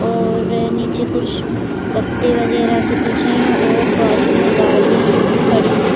और नीचे कुछ पत्ते वगेरा से कुछ है और बाजू में गाड़ियाँ भी खड़ी है।